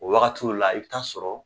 O wagatiw la i bi taa sɔrɔ